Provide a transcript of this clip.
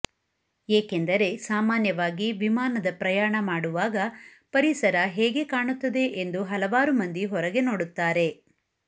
ಏಕೆಂದರೆ ಸಾಮಾನ್ಯವಾಗಿ ವಿಮಾನದ ಪ್ರಯಾಣ ಮಾಡುವಾಗ ಪರಿಸರ ಹೇಗೆ ಕಾಣುತ್ತದೆ ಎಂದು ಹಲವಾರು ಮಂದಿ ಹೊರಗೆ ನೋಡುತ್ತಾರೆ